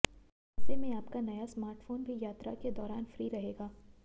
ऐसे में आपका नया स्मार्टफोन भी यात्रा के दौरान फ्री रहेगा